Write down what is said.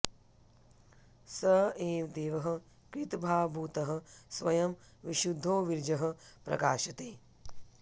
स एव देवः कृतभावभूतः स्वयं विशुद्धो विरजः प्रकाशते